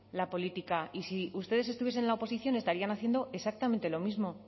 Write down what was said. la política y si ustedes estuviesen en la oposición estarían haciendo exactamente lo mismo